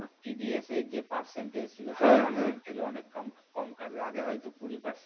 TDS এর যে percent ছিল সেগুলো অনেক কম কাটবে আগে হয়তো কুড়ি percent